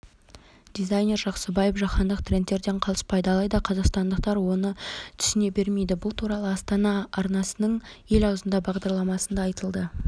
дизайнер жаксыбаев жаһандық трендтерден қалыспайды алайда қазақстандықтар оны түсіне бермейді бұл туралыастана арнасыныңел аузында бағдарламасында айтылды